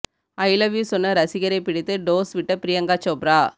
I love you சொன்ன ரசிகரைப் பிடித்து டோஸ் விட்ட பிரியங்கா சோப்ரா